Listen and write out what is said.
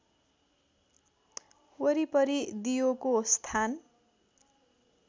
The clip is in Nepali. वरिपरि दियोको स्थान